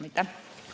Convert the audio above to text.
Aitäh!